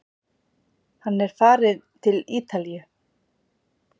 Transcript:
Hann er farinn til Ítalíu!